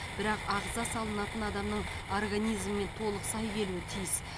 бірақ ағза салынатын адамның организмімен толық сай келуі тиіс